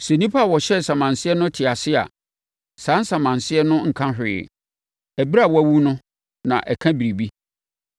Sɛ onipa a ɔhyɛɛ nsamanseɛ no te ase a, saa nsamanseɛ no nka hwee. Ɛberɛ a wawu no na ɛka biribi.